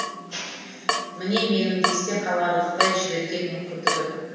міне менің есте қаларлықтай жіберген мүмкіндігім